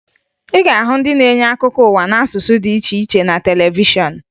Ị ga-ahụ ndị na-enye akụkọ ụwa n'asụsụ dị iche iche na televishọn